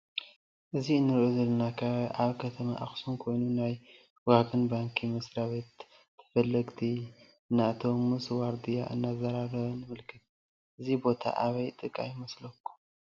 እዚ እንሪኦ ዘለና ከባቢ አብ ከተማ አክሱም ኮይኑ ናይ ወጋገን ባንኪ መስራቤት ተፈልገልቲ እናአተው ምስ ዋርድያ እናተዛራረብ ንምልከት። እዚ ቦታ አበይ ጥቃ ይመስለኩም?